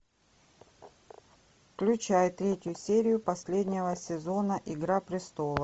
включай третью серию последнего сезона игра престолов